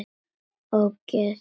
Ógeðið þitt!!